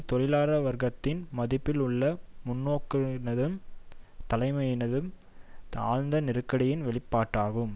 தொழிலாள வர்க்கத்தின் மத்தியில் உள்ள முன்னோக்கினதும் தலைமையினதும் ஆழ்ந்த நெருக்கடியின் வெளிப்பாடாகும்